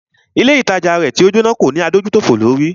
Ilé ìtajà rẹ̀ tí o Jóná kò ní adójútòfò lórí.